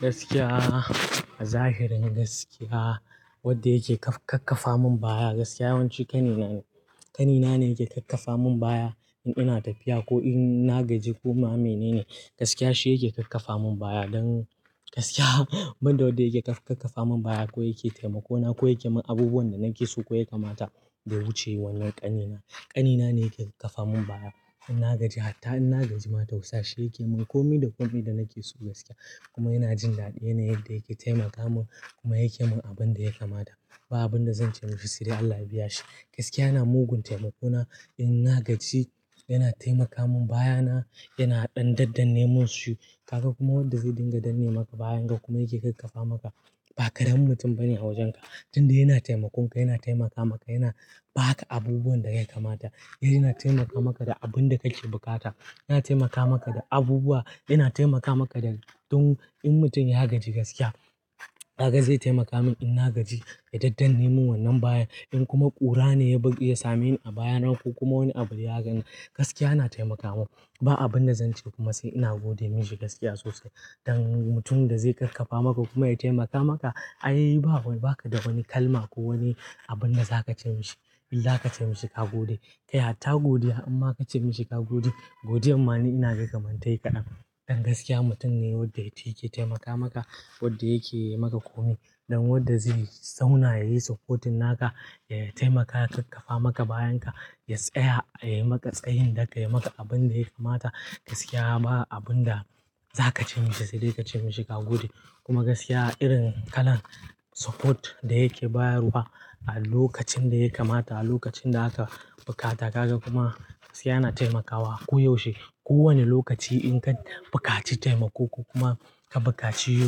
Gaskiya, a zahirin gaskiya, wanda yake ƙaƙƙafa min baya. Gaskiya yawanci ƙanina ne. Ƙanina ne yake ƙarfafa min baya in ina tafiya ko in na gaji kuma mene ne. Gaskiya shi yake ƙarfafa min baya. Don gaskiya, ban da wanda yake ƙarfafa min baya ko yake taimako na ko yake min abubuwan da nake so ko ya kamata da wuce wannan ƙanina. Ƙanina ne yake ƙarfafa min baya in na gaji har ta in na gaji ma tausa shi yake min kome da kome da nake so gaskiya. Kuma yana jin daɗi yana yadda yake taimaka min kuma yake min abin da ya kamata. Ba abin da zan ce mishi sai "Allah biya shi." Gaskiya yana mugun taimako na. In na gaji yana taimaka min baya na, yana dan dannanemunsu. Kaga kuma wanda zai dinga dannema maka bayan ka kuma yake ƙarfafa maka ba ƙaramin mutum bane a wajen ka. Tunda yana taimakon ka yana taimaka maka, yana ba ka abubuwan da ya kamata. Yana taimaka maka da abin da kake bukata. Yana taimaka maka da abubuwa. Yana taimaka maka da dun. In mutum ya gaji gaskiya, kaga zai taimaka min in na gaji ya dannanemu wannan bayan. In kuma ƙura ne ya same ni a baya na ko kuma wani abu ya gani, gaskiya na taimaka min. Ba abin da zan ce masa ina gode mishi gaskiya sosai. Dan mutum da zai ƙarfafa maka kuma ya taimaka maka ai ba ka da wani kalma ko wani abun da za ka ce mishi. Illa ka ce mishi ka gode. Kai hatta godiya in ma ka ce mishi ka gode, godiyar ma ni ina kaman ta yi kaɗan. Don gaskiya mutum ne wanda yake taimaka maka, wanda yake yi maka kome don wanda zai yi zauna, yayi supporting naka, ya taimaka ya ƙarfafa maka bayan ka, ya tsaya ya yi maka tsayin daka, ya yi maka abun da ya kamata. Gaskiya ba abin da za ka ce mishi sai dai ka ce mishi ka gode. Kuma gaskiya irin kalan support da yake bayarwa a lokacin da ya kamata, a lokacin da aka bukata. Kaga kuma gaskiya na taimakawa ko yaushe. Ko wane lokaci in kan buƙaci taimako ko kuma ka buƙaci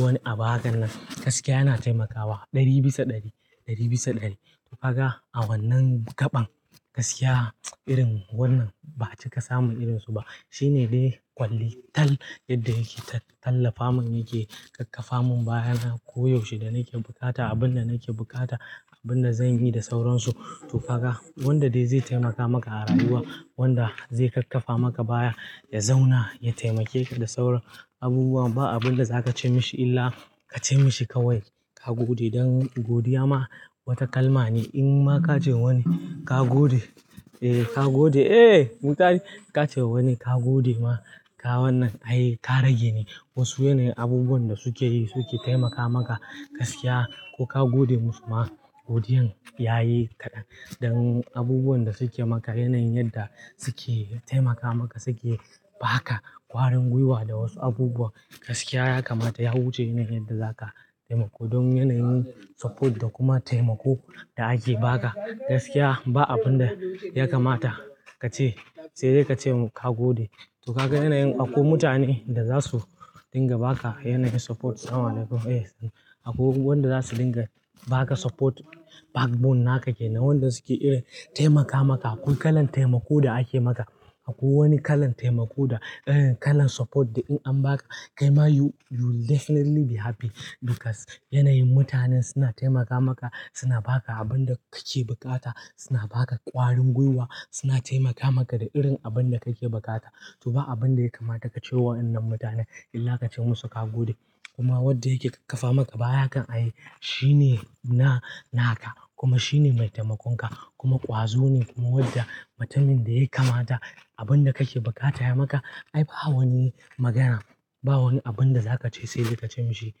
wani abu hakanan, gaskiya yana taimakawa ɗari bisa ɗari, ɗari bisa ɗari. To kaga a wannan gaɓan, gaskiya irin wannan ba'a cika samun irin su ba. Shi ne dai ƙwalli tal yadda yake tallafa min yake ƙarfafa min baya na koyaushe da nake buƙata. Abin da nake buƙata, abin da zan yi da sauransu. To kaga wanda dai zai taimaka maka a rayuwa, wanda zai ƙarfafa maka baya, ya zauna ya taimake ka da sauran abubuwa ba abin da za ka ce mishi illa ka ce mishi kawai ka gode. Don godiya ma wata kalma ne. In ma ka ce wani ka gode, eh ka gode. Eh muntari ka ce wani ka gode ma ka wannan ai ka rage ni. Wasu yanayin abubuwan da suke yi suke taimaka maka gaskiya ko ka gode musu ma godiyar yayi kaɗan. Don abubuwan da suke maka yanayin yadda suke taimaka maka suke ba ka ƙwarin gwiwa da wasu abubuwa. Gaskiya ya kamata ya wuce yanayin yadda za ka taimako don yanayin support da kuma taimako da ake ba ka. Gaskiya ba abin da ya kamata ka ce sai dai ka ce ka gode. To kaga yanayin akwai mutane da za su dinga ba ka yanayin support. Akwai wanda za su dinga ba ka support backbone naka ke. To wanda suke irin taimaka maka. Akwai kalan taimako da ake maka. Akwai wani kalan taimako da kalan support da in an ba ka kai ma you will definitely be happy because yanayin mutanen suna taimaka maka, suna ba ka abin da kake buƙata, suna ba ka ƙwarin gwiwa, suna taimaka maka da irin abin da kake buƙata. To ba abin da ya kamata ka ce wa wannan mutane illa ka ce musu ka gode. Kuma wanda yake ƙarfafa maka baya hakan ai shi ne na, naka kuma shi ne mai taimakon ka kuma ƙwazo ne kuma wanda mutumin da ya kamata abin da kake buƙata ya maka. Ai ba wani magana, ba wani abin da za ka ce sai dai ka ce mishi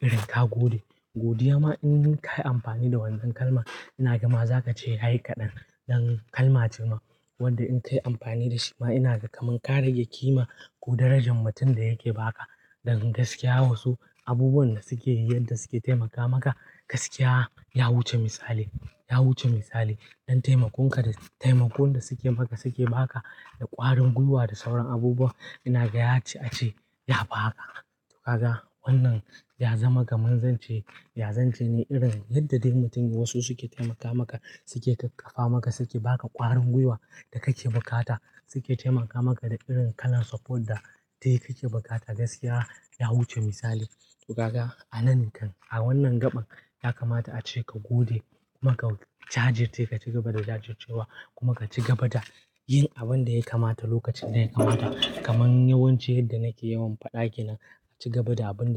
irin ka gode. Godiya ma in ka yi amfani da wannan kalma ina gama za ka ce yayi kaɗan. Don kalma ce ma wadda in ka yi amfani da shi ma ina gama ka rage kima ko darajan mutum da yake ba ka. Don gaskiya wasu abubuwan da suke yi, yadda suke taimaka maka gaskiya ya wuce misali. Ya wuce misali. Dan taimakon ka da taimakon da suke maka suke ba ka da ƙwarin gwiwa da sauran abubuwa ina gaya ce a ce ya fi haka. To kaga wannan ya zama kaman zance, ya zance ne irin yadda dai mutum wasu suke taimaka maka, suke ƙarfafa maka, suke ba ka ƙwarin gwiwa da kake buƙata. Suke taimaka maka da irin kalan support da dai kake buƙata gaskiya ya wuce misali. To kaga a nan kam a wannan gaɓan ya kamata ace ka gode kuma ka jajirce ka ci gaba da jajircewa kuma ka ci gaba da yin abin da ya kamata lokacin da ya kamata. Kaman yawanci yadda nake yawan faɗa, kenan ka ci gaba da abin da.